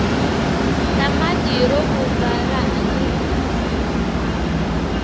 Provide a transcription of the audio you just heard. tamatirovuzfa rahhanyisa